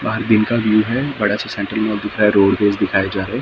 बाहर दिन का व्हिव है बड़ा सा सेंटर में लिखा है रोडवेज दिखाए जा रहे।